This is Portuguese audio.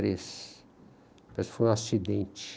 e três. Parece que foi um acidente.